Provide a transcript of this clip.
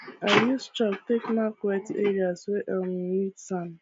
i use chalk take mark wet areas wey um need sand